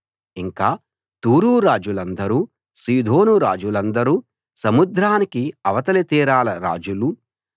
ఇంకా తూరు రాజులందరూ సీదోను రాజులందరూ సముద్రానికి అవతలి తీరాల రాజులూ